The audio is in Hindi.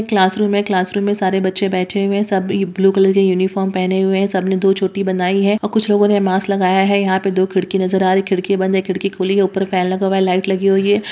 ये क्लासरूम है क्लासरूम में सारे बच्चे बैठे हुए हैं सब ब्लू कलर के यूनिफॉर्म पहने हुए हैं सब ने दो चोटी बंधाई है और कुछ लोगों ने मास्क लगाया है यहाँ पे दो खिड़की नजर आ रही है खिड़की बंद है खिड़की खुली है ऊपर फैन लगा हुआ है लाइट लगी हुई है।